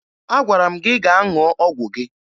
Agwara m gị gaa ṅụọ ọgwụ gị!